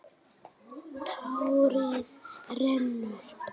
Tárið rennur.